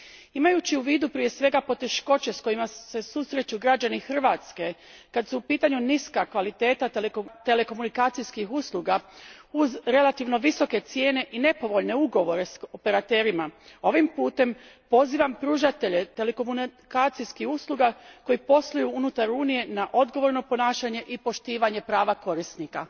Imajući u vidu, prije svega, poteškoće s kojima se susreću građani Hrvatske kad su u pitanju niska kvaliteta telekomunikacijskih usluga uz relativno visoke cijene i nepovoljne ugovore s operaterima, ovim putem pozivam pružatelje telekomunikacijskih usluga koji posluju unutar Unije na odgovorno ponašanje i poštovanje prava korisnika.